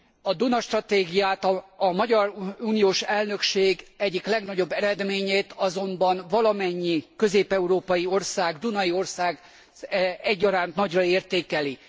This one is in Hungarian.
A Duna stratégiát a magyar uniós elnökség egyik legnagyobb eredményét azonban valamennyi közép európai ország, dunai ország egyaránt nagyra értékeli.